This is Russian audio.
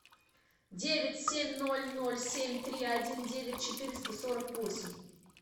девять семь ноль ноль семь три один девять четыреста сорок восемь